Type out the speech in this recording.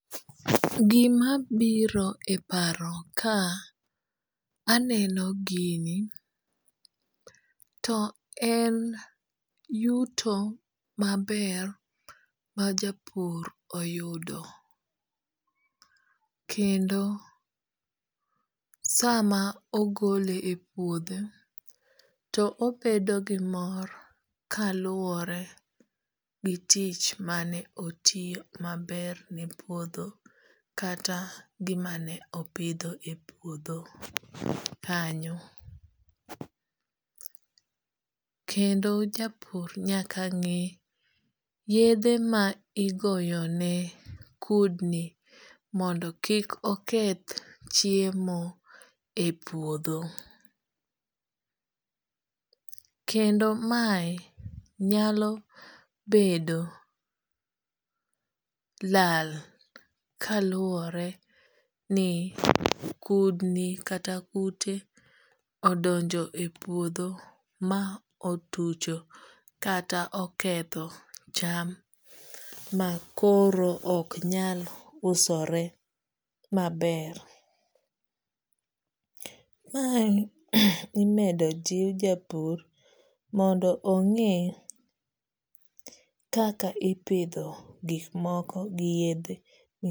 Gima biro e paro ka aneno gini to en yuto maber majapur oyudo kendo sama ogole e puodho to obedo gi mor kaluwore gi tich mane otiyo maber ne puodho kata gima ne opidho e puodho kanyo. Kendo japur nyaka ng'e yedhe ma igoyo ne kudni mondo kik oketh chiemo e puodho. Kendo mae nyalo bedo lal kaluwore ni kudni kata kute odonjo e puodho ma otucho kata oketho cham makoro ok nyal usore maber. Ma imedo jiw japur mondo ong'e kaka ipidho gik moko gi yedhe